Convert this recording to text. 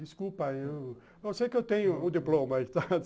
Desculpa, eu sei que eu tenho o diploma, tá?